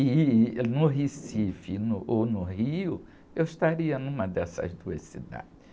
E... No Recife e no, ou no Rio, eu estaria numa dessas duas cidades.